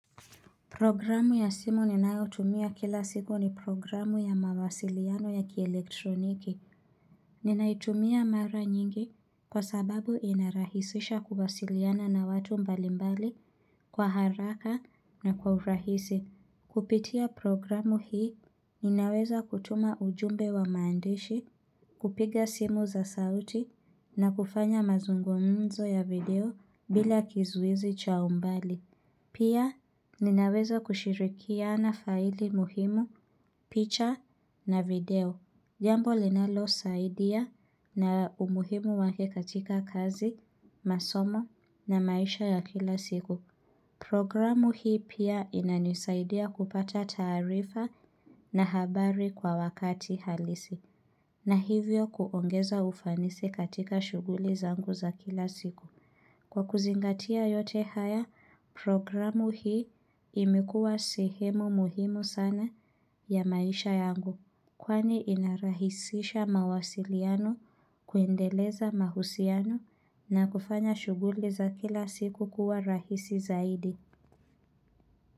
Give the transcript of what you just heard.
Programu ya simu ninayo tumia kila siku ni programu ya mawasiliano ya kielektroniki. Ninaitumia mara nyingi kwa sababu inarahisisha kuwasiliana na watu mbalimbali kwa haraka na kwa urahisi. Kupitia programu hii ninaweza kutuma ujumbe wa maandishi, kupiga simu za sauti na kufanya mazungomzo ya video bila kizuizi cha umbali. Pia ninaweza kushirikiana faili muhimu, picha na video. Jambo linalo saidia na umuhimu wake katika kazi, masomo na maisha ya kila siku. Programu hii pia inanisaidia kupata taarifa na habari kwa wakati halisi. Na hivyo kuongeza ufanisi katika shughuli zangu za kila siku. Kwa kuzingatia yote haya programu hii imekuwa sehemu muhimu sana ya maisha yangu kwani inarahisisha mawasiliano kuendeleza mahusiano na kufanya shughuli za kila siku kuwa rahisi zaidi.